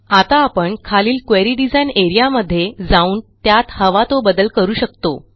आता आपण खालील क्वेरी डिझाइन एआरईए मध्ये जाऊन त्यात हवा तो बदल करू शकतो